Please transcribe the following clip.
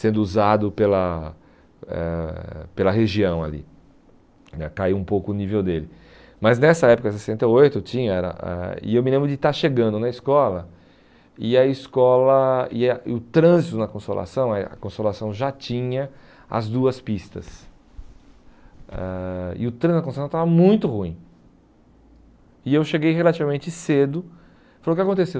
sendo usado pela eh pela região ali né caiu um pouco o nível dele mas nessa época, sessenta e oito eu tinha era ãh e eu me lembro de estar chegando na escola e a escola e a e o trânsito na consolação é a consolação já tinha as duas pistas ãh e o trânsito na consolação estava muito ruim e eu cheguei relativamente cedo falou, o que que aconteceu?